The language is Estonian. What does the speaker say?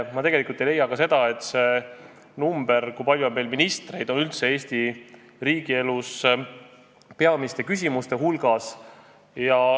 Ja ma tegelikult ei leia ka seda, et number, kui palju on meil ministreid, on üldse Eesti riigi elus peamiste küsimuste hulgas.